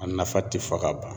A nafa ti fɔ ka ban.